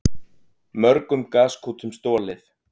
Mörgum gaskútum stolið